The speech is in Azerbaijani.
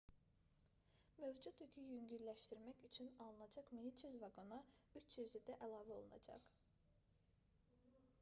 mövcud yükü yüngülləşdirmək üçün alınacaq 1300 vaqona 300-ü də əlavə olunacaq